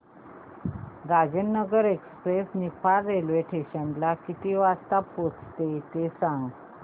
Rajendranagar express Niphad railway station ला किती वाजता पोहचते ते सांग